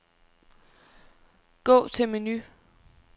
Gå til menu.